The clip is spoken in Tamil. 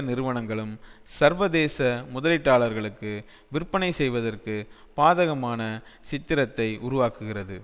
நிறுவனங்களும் சர்வதேச முதலீட்டார்களுக்கு விற்பனை செய்வதற்கு பாதகமான சித்திரத்தை உருவாக்குகிறது